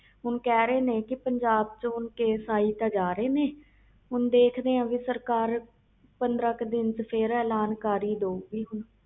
ਹਹੁਣ ਕਹਿ ਰਹੇ ਨੇ ਪੰਜਾਬ ਵਿਚ ਕੇਸ ਤੇ ਆਈ ਜਾ ਰਹੇ ਨੇ ਦੇਖ ਦੇ ਆ ਸਰਕਾਰ ਪੰਦਰਾਂ ਦਿਨ ਨੂੰ ਐਲਾਨ ਕਰ ਦੋ ਗਈ